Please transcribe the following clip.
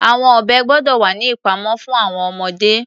Àwọn ọ̀bẹ gbọ́dọ̀ wà ní ìpamọ́ fún àwọn ọmọdé.